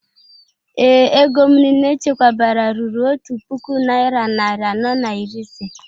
Ee, ego m niile echekwabara ruru otu puku naira narị anọ na iri ise